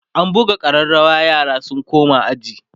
an buga ƙararawa yara su koma aji